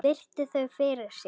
Virti þau fyrir sér.